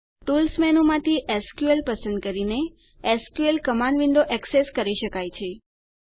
tools મેનૂમાંથી SQL પસંદ કરીને એસક્યુએલ કમાંડ વિન્ડો એક્સેસ કરી શકાય છે